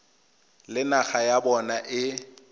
le naga ya bona e